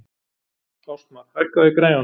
Ástmar, hækkaðu í græjunum.